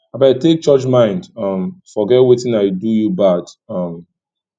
abeg take church mind um forget wetin i do you bad um